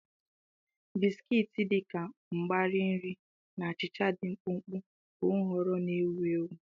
Biskiti, dị ka mgbari nri na achịcha dị mkpụmkpụ, bụ nhọrọ ndị ewu ewu.